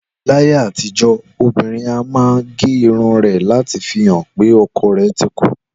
Láyé àtijọ́, obìnrin a máa gé irun rẹ̀ láti fi hàn wí pé ọkọ rẹ̀ ti kú